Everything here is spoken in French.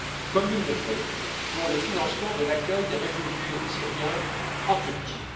comme il le fait pour le financement de l'accueil des réfugiés syriens en Turquie.